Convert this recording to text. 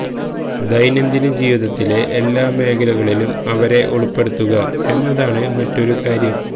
ദൈനംദിന ജീവിതത്തിലെ എല്ലാ മേഖലകളിലും അവരെ ഉൾപ്പെടുത്തുക എന്നതാണ് മറ്റൊരു കാര്യം